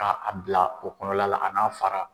Ka a bila o kɔnɔla la a n'a fara.